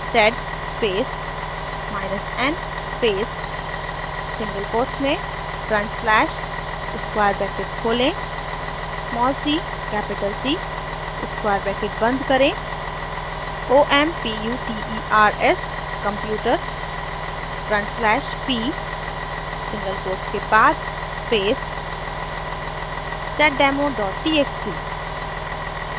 sed space n space single quotes में front slash square bracket खोलें cc square bracket बंद करें omputers/p single quotes के बाद space seddemo txt